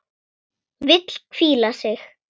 Vill hvíla sig.